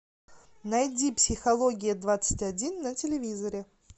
найди психология двадцать один на телевизоре